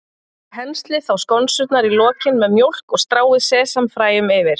Penslið þá skonsurnar í lokin með mjólk og stráið sesamfræjum yfir.